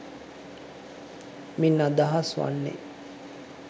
මින් අදහස් වන්නේ